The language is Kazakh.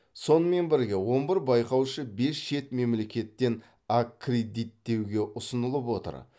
сонымен бірге он бір байқаушы бес шет мемлекеттен аккредиттеуге ұсынылып отыр